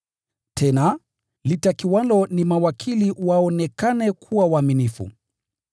Tena, litakiwalo ni mawakili waonekane kuwa waaminifu.